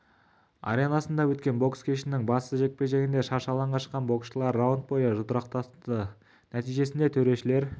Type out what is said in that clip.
аренасында өткен бокс кешінің басты жекпе-жегінде шаршы алаңға шыққан боксшылар раунд бойы жұдырықтасты нәтижесінде төрешілер